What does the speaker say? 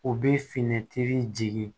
U bɛ finitigi